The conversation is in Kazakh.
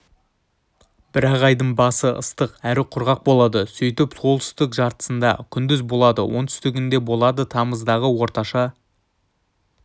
бірақ айдың басы ыстық әрі құрғақ болады сөйтіп солтүстік жартысында күндіз болады оңтүстігінде болады тамыздағы орташа